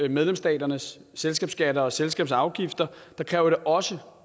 medlemsstaternes selskabsskatter og selskabsafgifter kræver det også